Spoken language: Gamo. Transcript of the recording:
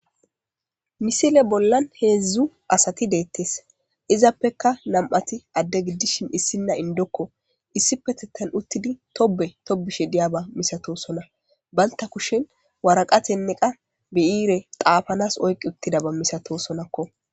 misile bollan heedzdzu asati deettes izappeka nam7ati adde giddishin issinna indokko issipetetan uttidi tobe tobishe diyaba misatosona banta kushen waraqatenne qa beyiire xaafanas oyqiuttidaba misatosonakko